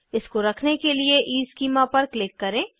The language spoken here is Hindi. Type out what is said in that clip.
इसको रखने के लिए ईस्कीमा पर क्लिक करें